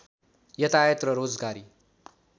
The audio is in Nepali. यातायात र रोजगारी